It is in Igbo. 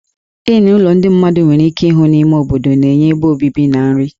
Inn ụlọ ndị mmadụ nwere ike ịhụ n'ime obodo nke na-enye ebe obibi na nri.